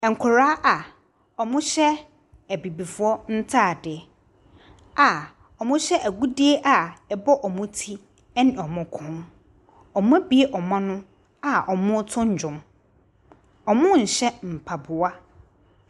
Nkwadaa a wɔhyɛ Abibifoɔ ntaadeɛ a wɔhyɛ agudeɛ a ɛbɔ wɔn ti ne wɔn kɔn. Wɔabue wɔn ano a wɔreto nwom. Wɔnhyɛ mpaboa.